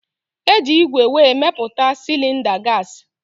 Eji igwe wee meputa cilinda gasi